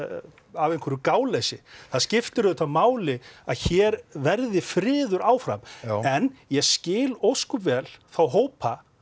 af einhverju gáleysi það skiptir auðvitað máli að hér verði friður áfram en ég skil ósköp vel þá hópa